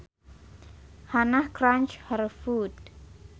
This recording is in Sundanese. Hannah crunched her food